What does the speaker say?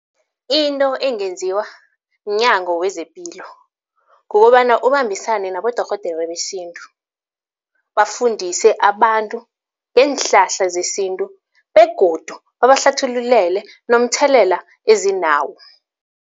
Into engenziwa mnyango wezepilo kukobana ubambisane nabodorhodere besintu, bafundise abantu ngeenhlahla zesintu begodu babahlathululele nomthelela ezinawo.